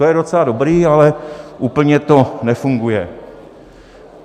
To je docela dobré, ale úplně to nefunguje.